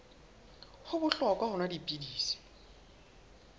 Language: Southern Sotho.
ho bohlokwa ho nwa dipilisi